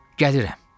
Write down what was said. Gəlirəm.